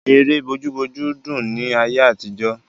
Ère bójú bójú dùn ni ayé àtijọ́.